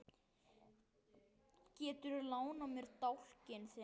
Geturðu lánað mér dálkinn þinn?